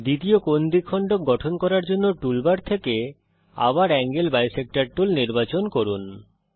দ্বিতীয় কোণ দ্বিখণ্ডক গঠন করার জন্যে টুল বার থেকে আবার এঙ্গেল বিসেক্টর টুল নির্বাচন করুন